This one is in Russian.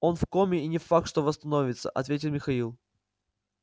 он в коме и не факт что восстановится ответил михаил